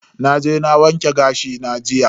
Naje na wanke gashi na jiya.